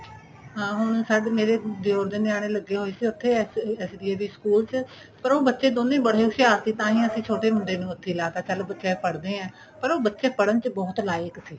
ਹਾਂ ਹੁਣ ਸਚ ਮੇਰੇ ਦਿਉਰ ਦੇ ਨਿਆਣੇ ਲੱਗੇ ਹੋਏ ਸੀ ਉੱਥੇ SDAV school ਚ ਪਰ ਉਹ ਬੱਚੇ ਦੋਨੇ ਬੜੇ ਹੋਸ਼ਿਆਰ ਸੀ ਤਾਂਹੀਂ ਅਸੀਂ ਛੋਟੇ ਮੁੰਡੇ ਨੂੰ ਉੱਥੇ ਲਾ ਤਾਂ ਚੱਲ ਬੱਚੇ ਪੜ੍ਹਦੇ ਏ ਪਰ ਉਹ ਬੱਚੇ ਪੜ੍ਹਣ ਚ ਬਹੁਤ like ਸੀ